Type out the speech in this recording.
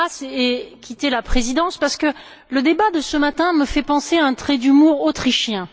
Karas ait quitté la présidence parce que le débat de ce matin me fait penser à un trait d'humour autrichien.